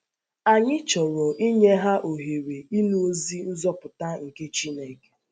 Anyị chọrọ inye ha ohere ịnụ ozi nzọpụta nke Chị́nẹ̀ke.